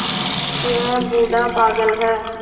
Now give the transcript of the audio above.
यह बूढ़ा पागल है